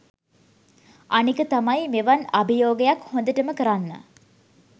අනික තමයි මෙවන් අභියෝගයක් හොඳටම කරන්න